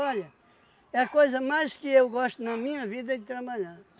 Olha, é a coisa mais que eu gosto na minha vida é de trabalhar.